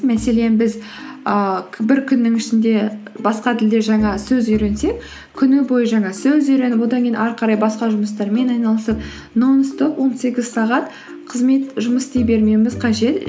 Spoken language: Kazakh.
мәселен біз ііі бір күннің ішінде басқа тілде жаңа сөз үйренсек күні бойы жаңа сөз үйреніп одан кейін ары қарай басқа жұмыстармен айналысып нон стоп он сегіз сағат қызмет жұмыс істей бермеуіміз қажет